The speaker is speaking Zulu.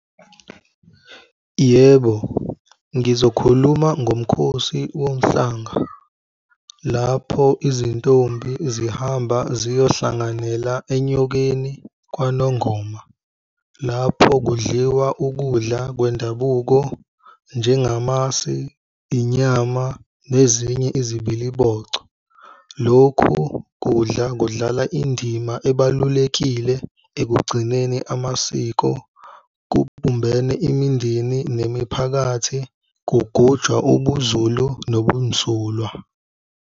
Yebo, ngizokhuluma ngomkhosi womhlanga, lapho izintombi zihamba ziyohlanganyela eNyokeni kwaNongoma. Lapho kudliwa ukudla kwendabuko njengamasi, inyama nezinye izibilibocho. Lokhu kudla kudlala indima ebalulekile ekugcineni amasiko kubumbene imindeni nemiphakathi kugujwa ubuZulu nobunzulwa.